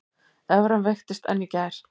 Evran veiktist enn í gær